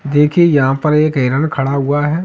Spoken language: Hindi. देखे यहाँ पर एक हिरण खड़ा हुआ है।